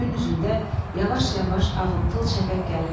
Göynüzündə yavaş-yavaş ağımtıl şəfəq gəlirdi.